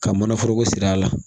Ka mana foroko siri a la